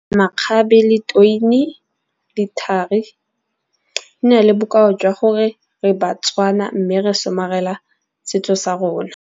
Makgabe le le thari di na le bokao jwa gore re Batswana. Mme re somarela setso sa rona.